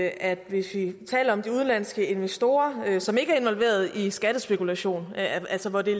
at hvis vi taler om de udenlandske investorer som ikke er involveret i skattespekulation altså hvor det